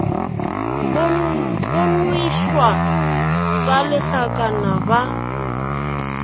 go nwešwa ka lehlakana ba